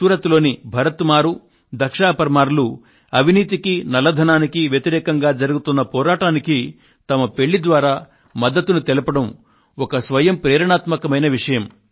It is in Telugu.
సూరత్ లోని భరత్ మారు దక్షా పర్మార్ లు అవినీతికి నల్లధనానికి వ్యతిరేకంగా జరుగుతున్న పోరాటానికి వాళ్ళు తమ పెళ్ళి ద్వారా మద్దతును తెలపడం ఒక స్వయం ప్రేరణాత్మకమైన విషయం